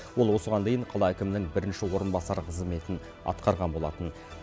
ол осыған дейін қала әкімінің бірінші орынбасары қызметін атқарған болатын